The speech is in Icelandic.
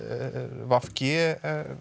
v g